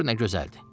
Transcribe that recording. Gör nə gözəldir.